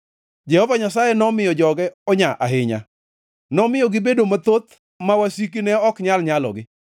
Jehova Nyasaye nomiyo joge onya ahinya; nomiyo gibedo mathoth ma wasikgi ne ok nyal nyalogi,